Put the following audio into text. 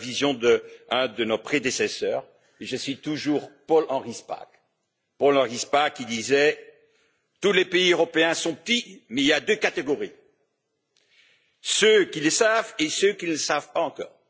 La vision d'un de nos prédécesseurs et je cite toujours Paul Henri Spaak, qui disait tous les pays européens sont petits mais il y a deux catégories ceux qui le savent et ceux qui ne le savent pas encore.